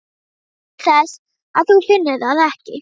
Nú, til þess að þú finnir það ekki.